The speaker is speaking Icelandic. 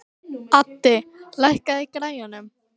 Addi, lækkaðu í græjunum.